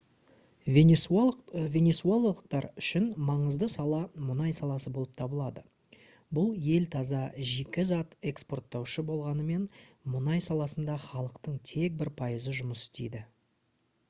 венесуэлалықтар үшін маңызды сала мұнай саласы болып табылады бұл ел таза жикі зат экспорттаушысы болғанымен мұнай саласында халықтың тек бір пайызы жұмыс істейді